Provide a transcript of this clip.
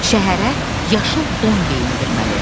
Şəhərə yaşıl don geyindirməli.